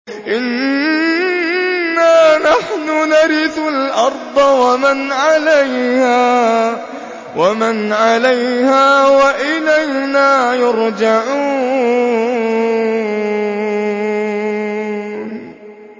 إِنَّا نَحْنُ نَرِثُ الْأَرْضَ وَمَنْ عَلَيْهَا وَإِلَيْنَا يُرْجَعُونَ